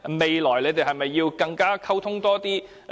未來兩方是否更要多作溝通？